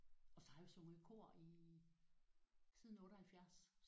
Og så har jeg jo sunget i kor i siden 78 så